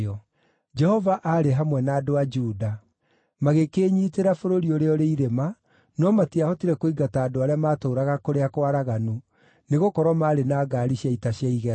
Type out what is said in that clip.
Jehova aarĩ hamwe na andũ a Juda. Magĩkĩĩnyiitĩra bũrũri ũrĩa ũrĩ irĩma, no matiahotire kũingata andũ arĩa maatũũraga kũrĩa kwaraganu, nĩgũkorwo maarĩ na ngaari cia ita cia igera.